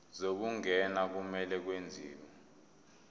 zokungena kumele kwenziwe